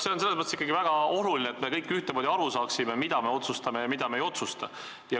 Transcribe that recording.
See on selles mõttes ikkagi väga oluline, et me kõik ühtemoodi aru saaksime, mida me otsustame ja mida me ei otsusta.